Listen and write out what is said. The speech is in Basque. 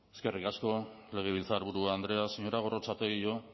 eskerrik asko legebiltzarburu andrea señora gorrotxategi yo